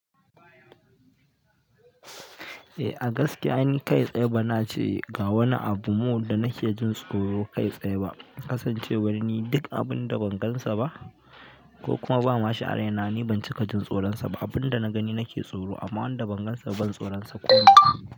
A gaskiya ni kai tsaye ba na ce ga wani abu mo da na ke jin tsoro kai tsaye ba kasancewar ni duk abun da bangansa ba ko kuma ba ma shi a raina ni ba ci ka jin tsoronsa ba. Abunda na gani nake tsoro, amma wanda ban gan sa ba, ban tsoron sa ko wani iri ne.